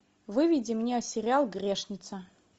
выведи мне сериал грешница